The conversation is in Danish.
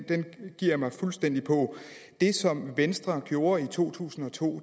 giver jeg mig fuldstændig på det som venstre gjorde i to tusind og to